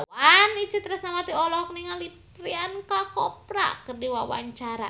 Itje Tresnawati olohok ningali Priyanka Chopra keur diwawancara